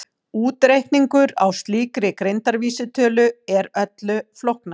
Útreikningur á slíkri greindarvísitölu er öllu flóknari.